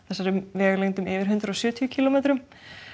vegalengdum yfir hundrað og sjötíu kílómetrum